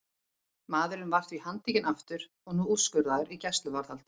Maðurinn var því handtekinn aftur og nú úrskurðaður í gæsluvarðhald.